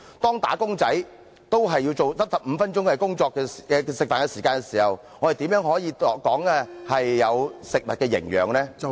當"打工仔"只有15分鐘的用膳時間時，我們如何談有食物營養？